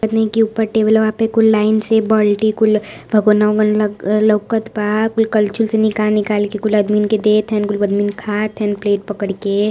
की ऊपर टेबल वा पे कुल लाइन से बल्टी कुल भगोना ओगोना लोकत बा कुल कलछुल से निकाल निकाल के कुल आदमी के देत हन गुल आदमी खात हन प्लेट पकड़ी के।